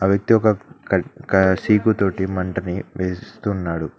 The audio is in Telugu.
ఒక వ్యక్తి ఒక క క చీపు తోటి మంటని ఉన్నాడు.